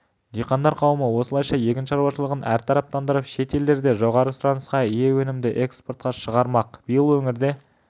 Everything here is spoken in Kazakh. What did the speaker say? диқандар қауымы осылайша егін шаруашылығын әртараптандырып шет елдерде жоғары сұранысқа ие өнімді экспортқа шығармақ биыл өңірде